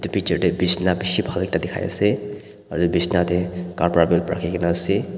picture de bisna bishi bhal ekta dikhai ase aro bisna de kapra rakhi gina ase.